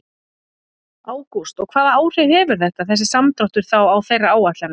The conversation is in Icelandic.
Ágúst: Og hvaða áhrif hefur þetta, þessi samdráttur þá á þeirra áætlanir?